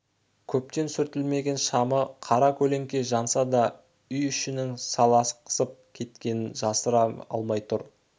көптен сүртілмеген шамы қара-көлеңке жанса да үй ішінің салақсып кеткенін жасыра алмай тұр